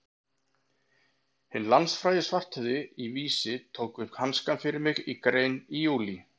Hinn landsfrægi Svarthöfði í Vísi tók upp hanskann fyrir mig í grein í júlí.